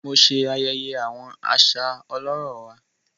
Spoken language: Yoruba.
Mo ṣe ayẹyẹ awọn aṣa ọlọrọ wà.